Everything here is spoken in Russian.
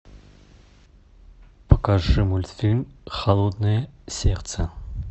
покажи мультфильм холодное сердце